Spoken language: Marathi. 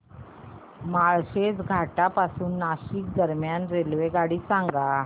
माळशेज घाटा पासून नाशिक दरम्यान रेल्वेगाडी सांगा